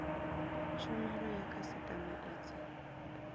tshumelo ya khasitama i dzi